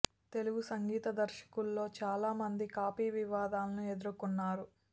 తెలుగు సంగీత దర్శకుల్లో చాలా మంది కాపీ వివాదాలను ఎదుర్కొకున్నారు